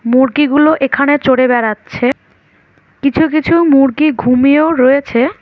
মুরগিগুলো এখানে চড়ে বেড়াচ্ছে কিছু কিছু মুরগি ঘুমিয়েও রয়েছে।